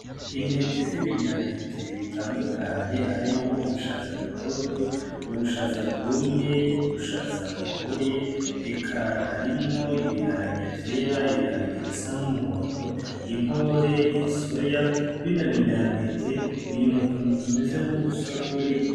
Intete z'ibinyantete bitandukanye harimwo nk'ubushaza butoto ubushaza bwumye ubushaza bukoboye eka harimwo ibiharage vyera ibiharage bisa n'umuhondo inkore isoya bino binyantete biri mutuntu tumeze nk'udusorori.